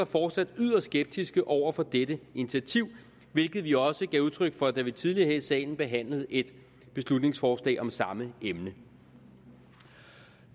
fortsat yderst skeptiske over for dette initiativ hvilket vi også gav udtryk for da vi tidligere her i salen behandlede et beslutningsforslag om samme emne